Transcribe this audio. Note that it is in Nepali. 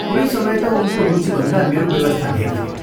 कुनै समय त उनको रुचिभन्दा मेरो व्यवस्था धेर थियो।